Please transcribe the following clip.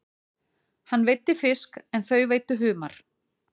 Hann veiddi fisk en þau veiddu humar.